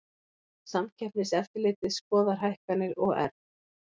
Samkeppniseftirlitið skoðar hækkanir OR